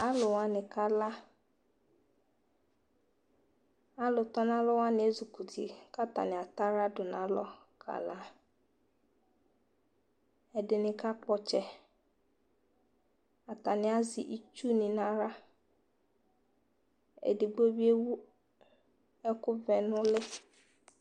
Alʋ wani kala Alʋ tɔ nalɔ wani ezukuti ka atani ataɣla du nalɔ kala Ɛdini kakpɔ ɔtsɛ Atani azɛ itsu ni naɣla Ɛdigbo bi ewu ɛkʋ vɛ nʋli